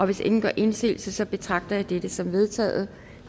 hvis ingen gør indsigelse betragter jeg dette som vedtaget